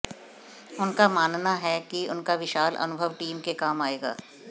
उनका मानना है कि उनका विशाल अनुभव टीम के काम आएगा